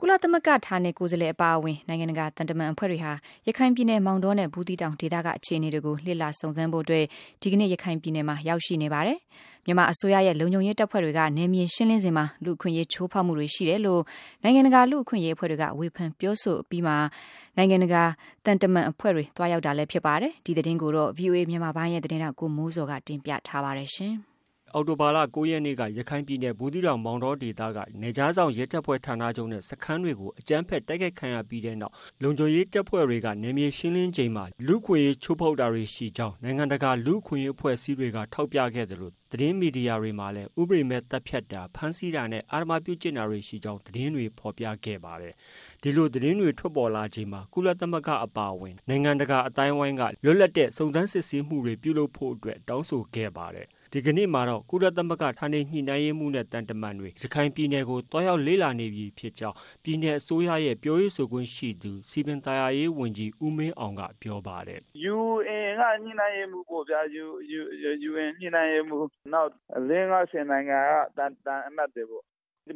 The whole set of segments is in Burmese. ကုလသမဂ္ဂ ဌာနေကိုယ်စားလှယ်အပါအဝင် နိုင်ငံတကာသံတမန်အဖွဲ့တွေဟာ ရခိုင်ပြည်နယ်မောင်တောနဲ့ ဘူးသီးတောင်ဒေသက အခြေအနေတွေ ကို လေ့လာစုံစမ်းဖို့အတွက် ဒီကနေ့ ရခိုင်ပြည်နယ်မှာ ရောက်ရှိနေ ပါတယ်။ မြန်မာအစိုးရရဲ့ လုံခြုံရေးတပ်ဖွဲ့တွေက နယ်မြေ ရှင်းလင်းစဉ်မှာ လူ့အခွင့်အရေး ချိုးဖောက်မှုတွေရှိတယ်လို့ နိုင်ငံတကာ လူ့အခွင့်အရေး အဖွဲ့တွေက ဝေဖန် ပြောဆိုခဲ့အပြီးမှာ နိုင်ငံတကာ သံတမန်အဖွဲ့တွေ သွားရောက်တာ လည်း ဖြစ်ပါတယ်။ ဒီသတင်းကိုတော့ ဗွီအိုအေမြန်မာပိုင်းရဲ့ သတင်းထောက် ကိုမိုးဇော်က တင်ပြထားပါတယ်။ အောက်တိုလာလ ၉ရက်နေ့က ရခိုင်ပြည်နယ် ဘူးသီးတောင်၊ မောင်တောဒေသက နယ်ခြားစောင့် ရဲတပ်ဖွဲ့ ဌာနချုပ်နဲ့ စခန်းတွေကို အကြမ်းဖက် တိုက်ခိုက်ခံရပြီးတဲ့နောက် လုံခြုံရေးတပ်ဖွဲ့တွေက နယ်မြေရှင်းလင်းချိန်မှာ လူ့အခွင့်အရေးချိုးဖောက်တာတွေရှိကြောင်း နိုင်ငံတကာ လူ့အခွင့်အရေး အဖွဲ့အစည်းတွေက ထောက်ပြခဲ့သလို သတင်းမီဒီယာတွေမှာလည်း ဥပဒေမဲ့ သတ်ဖြတ်တာ၊ ဖမ်းဆီးတာနဲ့ အဓမ္မ ပြုကျင့်မှုတွေ ရှိကြောင်း သတင်းတွေ ဖော်ပြခဲ့ကြပါတယ်။ ဒီလို သတင်းတွေ ထွက်ပေါ်လာချိန်မှာ ကုလသမဂ္ဂအပါအဝင် နိုင်ငံတကာအသိုင်းအဝိုင်းက လွတ်လပ်တဲ့ စုံစမ်းစစ်ဆေးမှုတွေ ပြုလုပ်ဖို့အတွက် တောင်းဆိုခဲ့ပါတယ်။ ဒီကနေ့မှာတော့ ကုလသမဂ္ဂ ဌာနေညှိနှိုင်းရေးမှုးနဲ့ သံတမန်တွေ ရခိုင်ပြည်နယ်ကို သွားရောက်လေ့လာနေပြီ ဖြစ်ကြောင်း ပြည်နယ်အစိုးရရဲ့ ပြောရေးဆိုခွင့်ရှိသူ စည်ပင်သာယာရေးဝန်ကြီး ဦးမင်းအောင်က ပြောပါတယ်။ “ UN က ညှိနှိုင်းရေးမှူး နောက် သံအမတ်တွေပေ့ါ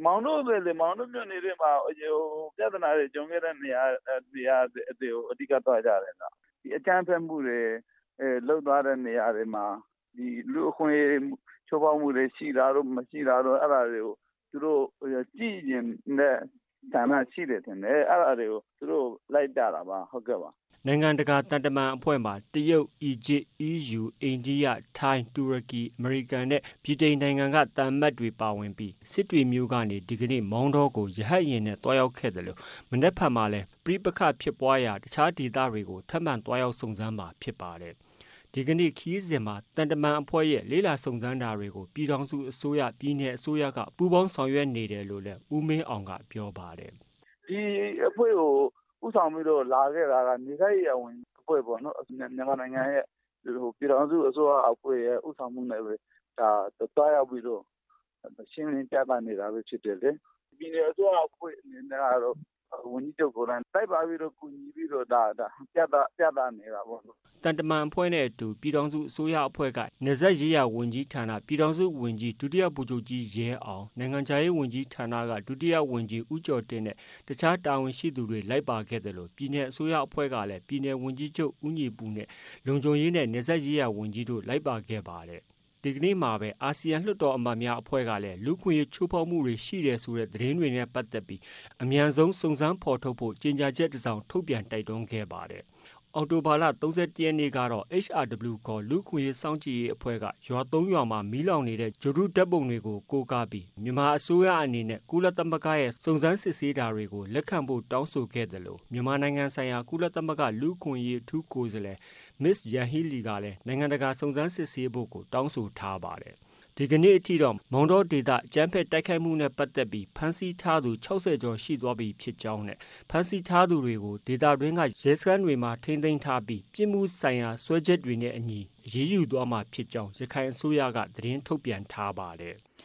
မောင်တောမြို့နယ် ထဲမှာ ပြဿနာတွေကြုံခဲ့တဲ့နေရာတွေမှာ အဲဒီနေရာတွေကို အဓိကသွားကြတယ်ခင်ဗျ။ အကြမ်းဖက်မှုတွေ လုပ်သွားတဲ့နေရာတွေမှာ လူ့အခွင့်အရေး ချိုးဖောက်မှုတွေ ရှိတာတို့ မရှိတာတို့ သူတို့ ကြည့်ချင်တဲ့ ဆန္ဒရှိတယ်ထင်တယ်။ အဲဒါတွေကို သူတို့ကို လိုက်ပြတာပါ။” နိုင်ငံတကာသံတမန်အဖွဲ့မှာ တရုတ်၊ အီဂျစ်၊ အီးယူ၊ အိန္ဒိယ၊ ထိုင်း၊ တူရကီ၊ အမေရိကန်နဲ့ ဗြိတန်သံအမတ်တွေ ပါဝင်ပြီး စစ်တွေမြို့ကနေ ဒီကနေ့ မောင်တောကို တပ်မတော်ရဟတ်ယာဉ်နဲ့ သွားရောက်ခဲ့သလို မနက်ဖြန်လည်း ပဋိပက္ခဖြစ်ပွားရာ တခြားဒေသတွေကို ထပ်မံသွားရောက်စုံစမ်းမှာ ဖြစ်ပါတယ်။ ဒီကနေ့ ခရီးစဉ်မှာ သံတမန်အဖွဲ့ရဲ့ လေ့လာစုံစမ်းတာတွေ ကို ပြည်ထောင်စုအစိုးရ၊ ပြည်နယ်အစိုးရက ပူးပေါင်းဆောင်ရွက်နေတယ်လို့လည်း ဦးမင်းအောင်က ပြောပါတယ်။ “ဒီအဖွဲ့ကို ဦးဆောင်ပြီးတော့ လာခဲ့တာက နယ်စပ်ရေးရာ ဝန်ကြီးအဖွဲ့ပေါ့နော်။ မြန်မာနိုင်ငံရဲ့ ပြည်ထောင်စုအစိုးရအဖွဲ့ရဲ့ ဦးဆောင်မှုနဲ့သွားရောက်ပြီးတော့ ရှင်းလင်းပြသနေတာဖြစ်တယ်လေ။ ပြည်နယ်အစိုးရအဖွဲ့အစည်းအနေနဲ့ကတော့ ဝန်ကြီးချုပ်ကိုယ်တိုင် လိုက်ပါကူညီပြသနေတာပေါ့” သံတမန်အဖွဲ့နဲ့အတူ ပြည်ထောင်စုအစိုးရအဖွဲ့က နယ်စပ်ရေးရာ ဝန်ကြီးဌာန ပြည်ထောင်စုဝန်ကြီး ဒုတိယဗိုလ်ချုပ်ကြီး ရဲအောင်၊ နိုင်ငံခြားရေးဝန်ကြီးဌာနက ဒုတိယဝန်ကြီး ဦးကျော်တင့်နဲ့ တခြား တာဝန်ရှိသူတွေလိုက်ပါခဲ့သလို ပြည်နယ်အစိုးရအဖွဲ့က ရခိုင်ပြည်နယ်ဝန်ကြီးချုပ် ဦးညီပုနဲ့ လုံခြုံရေးနဲ့နယ်စပ်ရေးရာဝန်ကြီးတို့ လိုက်ပါခဲ့တာဖြစ်ပါတယ်။ ဒီကနေ့မှာပါ အာဆီယံလွှတ်တော်အမတ်များအဖွဲ့ကလည်း လူ့အခွင့်အရေးချိုးဖောက်မှုတွေ ရှိခဲ့တယ်ဆိုတဲ့ သတင်းတွေနဲ့ ပတ်သက်လို့ အမြန်ဆုံးစုံစမ်းဖော်ထုတ်ဖို့ ကြေညာချက်တစောင် ထုတ်ပြန်တိုက်တွန်းခဲ့တာပါ။ အောက်တိုဘာလ ၃၁ရက်နေ့ကတော့ HRW ခေါ် လူ့အခွင့်အရေးစောင့်ကြည့်ရေးအဖွဲ့က ရွာ ၃ရွာမှာ မီးလောင်နေတဲ့ ဂြိုလ်တုဓါတ်ပုံတွေကို ကိုးကားပြီး ဂြိုလ်တုဓါတ်ပုံတွေကို ကိုးကားပြီး မြန်မာအစိုးရအနေနဲ့ ကုလသမဂ္ဂရဲ့စုံစမ်းစစ်ဆေးတာတွေကို လက်ခံဖို့ တောင်းဆိုခဲ့သလို မြန်မာနိုင်ငံဆိုင်ရာ ကုလသမဂ္ဂ လူ့အခွင့်အရေး အထူးကိုယ်စားလှယ် မစ္စစ် ယန်ဟီးလီ ကလည်း နိုင်ငံတကာ စုံစမ်းစစ်ဆေးဖို့ကို တောင်းဆိုခဲ့ပါတယ်။ အခုချိန်ထိတော့ မောင်တောဒေသ အကြမ်းဖက် တိုက်ခိုက်မှုတွေနဲ့ ပတ်သက်ပြီး ဖမ်းဆီးထားသူ ၆၀ ကျော် ရှိသွားပြီဖြစ်ကြောင်းနဲ့ ဖမ်းဆီးထား သူတွေကို ဒေသတွင်း က ရဲစခန်းတွေမှာ ထိန်းသိမ်းထားပြီး ပြစ်မှုဆိုင်ရာ စွဲချက်တွေနဲ့အညီ အရေးယူ သွားမှာဖြစ်ကြောင်း ရခိုင်အစိုးရက သတင်းထုတ်ပြန်ထားပါတယ်။